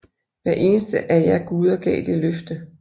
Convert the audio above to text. Hver eneste af jer guder gav det løfte